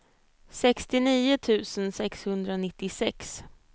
sextionio tusen sexhundranittiosex